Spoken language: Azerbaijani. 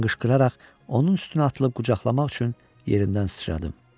Mən qışqıraraq, onun üstünə atılıb qucaqlamaq üçün yerindən sıçradım.